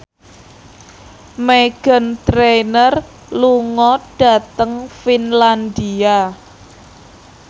Meghan Trainor lunga dhateng Finlandia